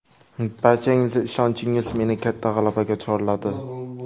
Barchangizning ishonchingiz meni katta g‘alabaga chorladi.